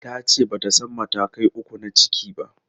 Ta ce ba ta san matakai uku na ciki ba.